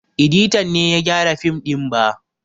Editan ne ya gyara fim ɗin ba